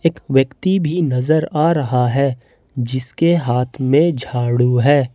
एक व्यक्ति भी नजर आ रहा है जिसके हाथ में झाड़ू है।